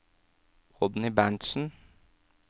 Oddny Berntsen